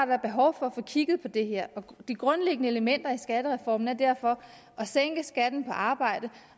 været behov for at få kigget på det her de grundlæggende elementer i skattereformen er derfor at sænke skatten på arbejde